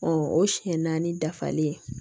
o siɲɛ naani dafalen